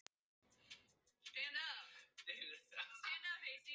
Baddi, hvað er í matinn á þriðjudaginn?